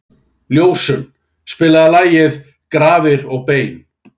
Ljósunn, spilaðu lagið „Grafir og bein“.